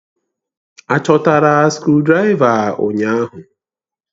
Achọtara skrụdiraiva ụnyahụ?